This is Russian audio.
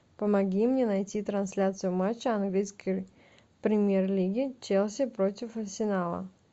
помоги мне найти трансляцию матча английской премьер лиги челси против арсенала